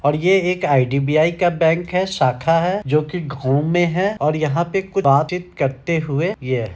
और ये एक आई.डी.बी.आई. का बैंक है। शाखा है जो की घूम में है और यहाँ पे कुछ बातचीत करते हुए ये है।